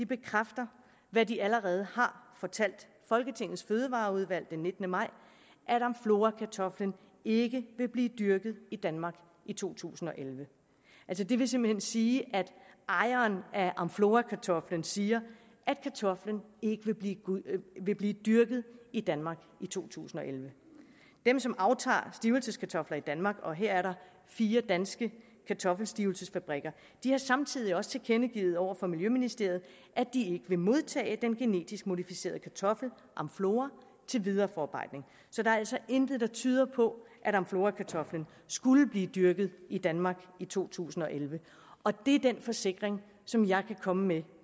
bekræfter hvad de allerede har fortalt folketingets fødevareudvalg den nittende maj at amflorakartoflen ikke vil blive dyrket i danmark i to tusind og elleve altså det vil simpelt hen sige at ejeren af amflorakartoflen siger at kartoflen ikke vil blive vil blive dyrket i danmark i to tusind og elleve dem som aftager stivelseskartofler i danmark og her er der fire danske kartoffelstivelsesfabrikker har samtidig også tilkendegivet over for miljøministeriet at de ikke vil modtage den genetisk modificerede kartoffel amflora til videre forarbejdning så der er altså intet der tyder på at amflorakartoflen skulle blive dyrket i danmark i to tusind og elleve og det er den forsikring som jeg kan komme med